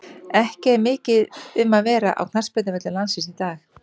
Ekki er mikið um að vera á knattspyrnuvöllum landsins í dag.